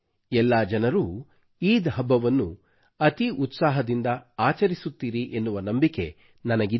ಎಲ್ಲಾ ಜನರೂ ಈದ್ ಹಬ್ಬವನ್ನು ಅತೀ ಉತ್ಸಾಹದಿಂದ ಆಚರಿಸುತ್ತೀರಿ ಎನ್ನುವ ನಂಬಿಕೆ ನನಗಿದೆ